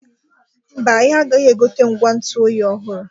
Mba, anyị agaghị egote ngwa ntụ oyi ọhụrụ.